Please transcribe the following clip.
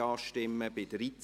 Ja / Oui Nein /